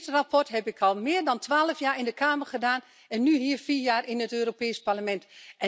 Dit verslag heb ik al meer dan twaalf jaar in de Kamer gedaan en nu hier vier jaar in het Europees Parlement.